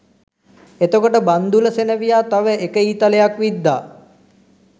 එතකොට බන්ධුල සෙනෙවියා තව එක ඊතලයක් විද්දා